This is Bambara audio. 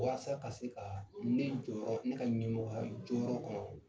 Walasa ka se ka ne jɔyɔrɔ ne ka ɲɛmɔgɔya jɔyɔrɔ kɔnɔ